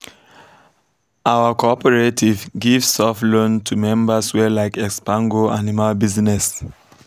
our cooperative give soft loan to members wey like expand go animal business